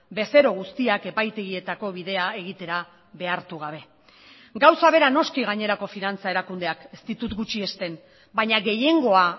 bezero guztiak epaitegietako bidea egitera behartu gabe gauza bera noski gainerako finantza erakundeak ez ditut gutxiesten baina gehiengoa